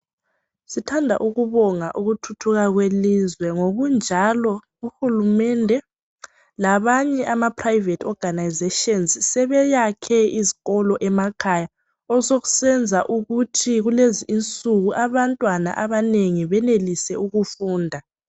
Sithanda ukubonga ukuthuthuka kwelizwe. Ngokunjalo uhulumende labanye amaprivate organisations sebeyakhe izikolo emakhaya osokusenza ukuthi kulezi nsuku abantwana abanengi benelise ukufunda.